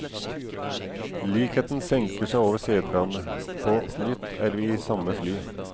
Likheten senker seg over seteradene, på nytt er vi i samme fly.